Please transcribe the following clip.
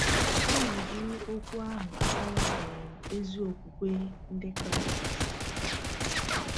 Ọ na-eji okwu ahụ akọwa um ezi okwukwe Ndị Kraịst.